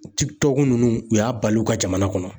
tikitɔk ninnu, u y'a bali u ka jamana kɔnɔ